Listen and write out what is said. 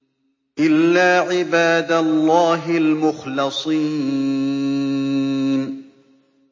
إِلَّا عِبَادَ اللَّهِ الْمُخْلَصِينَ